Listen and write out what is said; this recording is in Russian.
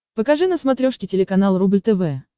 покажи на смотрешке телеканал рубль тв